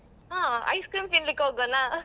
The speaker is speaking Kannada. ಹ ice-cream ತಿನ್ಲಿಕ್ಕ್ ಹೋಗ್ವನ?